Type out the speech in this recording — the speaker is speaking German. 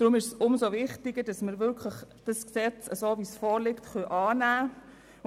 Deshalb ist es umso wichtiger, dieses Gesetz, so wie es vorliegt, anzunehmen.